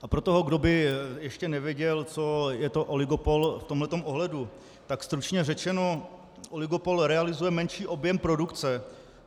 A pro toho, kdo by ještě nevěděl, co je to oligopol v tomhle ohledu, tak stručně řečeno, oligopol realizuje menší objem produkce.